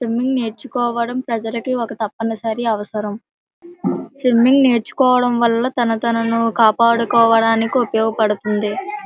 Swimming నేర్చుకోవడం ప్రజలకి ఒక తప్పనిసరి అవసరం . స్విమింగ్ నేర్చుకోవడం వల్ల తన తనను కాపాడుకోవడానికి ఉపయోగపడుతుంది. .